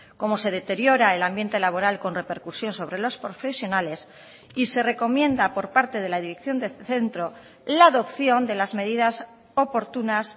como se deteriora el ambiente laboral con repercusión sobre los profesionales y se recomienda por parte de la dirección del centro la adopción de las medidas oportunas